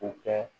O kɛ